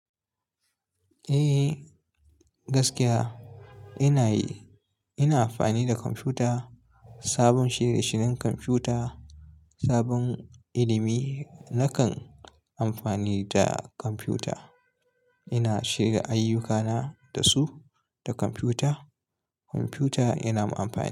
Eh gaskiya ina yi. Ina amfani da kwamfuta, sabon shirye-shiryen kwamfuta, sabon ilimi nakan amfani da kwamfuta. Ina shirya ayyukana da su, da kwamfuta. Kwamfuta ina amfani da.